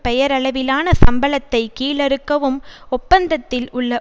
பெயரளவிலான சம்பளத்தை கீழறுக்கவும் ஒப்பந்தத்தில் உள்ள